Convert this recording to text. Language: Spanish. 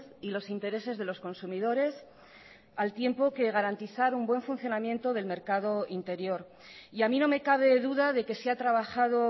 y los intereses de los consumidores al tiempo que garantizar un buen funcionamiento del mercado interior y a mí no me cabe duda de que se ha trabajado